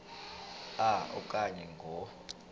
a okanye ngo